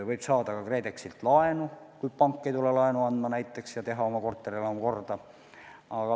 Võib saada ka KredExilt laenu, kui pank ei anna laenu, et saaks oma korterelamu korda teha.